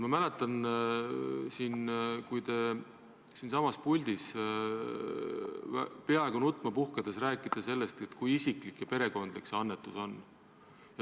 Ma mäletan, kui te siinsamas puldis peaaegu nutma puhkedes rääkisite sellest, kui isiklik ja perekondlik see annetus on.